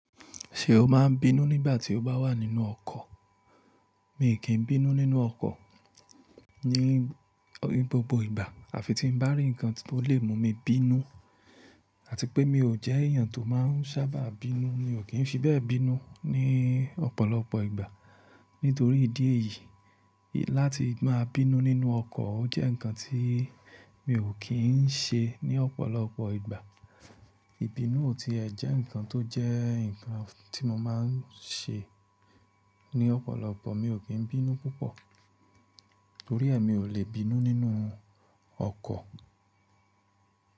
Ṣé o máa n bínú nígbà tí o bá wà nínú ọkọ̀? Mi kì í bínú nínú ọkọ̀ ní, ní gbogbo ìgbà. Àfi tí ń bá rí nǹkan tó lè mú mi bínú, àti pé mi ò jẹ́ èèyàn tó máa ń sábà bínú. Mi ò kí ń fi bẹ́ẹ̀ bínú ní ọ̀pọ̀lọpọ̀ ìgbà. Nítorí ìdí èyí, láti máa bínú nínú ọkọ̀, ó jẹ́ nǹkan tí mi ò kí ń ṣe ní ọ̀pọ̀lọpọ̀ ìgbà. Ìbínú ò tí ẹ́ jẹ́ nǹkan tó jẹ́ nǹkan tí mo máa ń ṣe ní ọ̀pọ̀lọpọ̀. Mi ò kí ń bínú púpọ̀ torí è mi ò lè bínú nínú ọkọ̀.